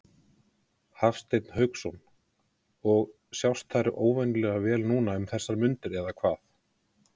Hafsteinn Hauksson: Og, og sjást þær óvenjulega vel núna um þessar mundir eða hvað?